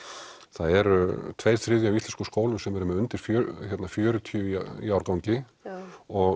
það eru tveir þriðju af íslenskum skólum sem eru með undir fjörutíu í árgangi og